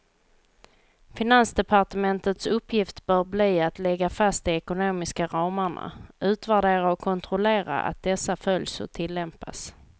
Finansdepartementets uppgift bör bli att lägga fast de ekonomiska ramarna, utvärdera och kontrollera att dessa följs och tillämpas.